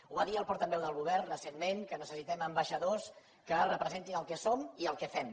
ho va dir el portaveu del govern recentment que necessitem ambaixadors que representin el que som i el que fem